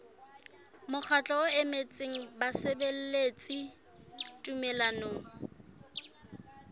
mokgatlo o emetseng basebeletsi tumellanong